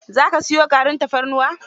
Za ka siyo garin tafarnuwar?